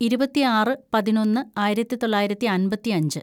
ഇരുപത്തിയാറ് പതിനൊന്ന് ആയിരത്തിതൊള്ളായിരത്തി അമ്പത്തിയഞ്ച്‌